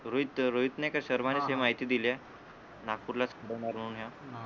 रोहित रोहितने काही शर्माने काही माहिती दिली हे नागपूरलाच होणार म्हणून ह्या